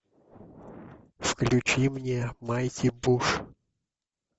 включи мне майти буш